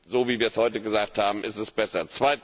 So, wie wir es heute gesagt haben, ist es besser.